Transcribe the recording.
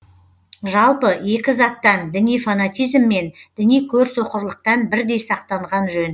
жалпы екі заттан діни фанатизм мен діни көрсоқырлықтан бірдей сақтанған жөн